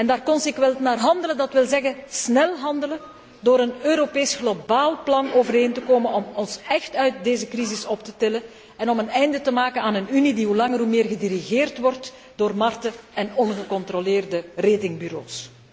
Daar consequent naar handelen, wil zeggen snel handelen door een Europees globaal plan overeen te komen om ons echt uit deze crisis te tillen en om een einde te maken aan een Unie die hoe langer hoe meer gedirigeerd wordt door markten en ongecontroleerde ratingbureaus.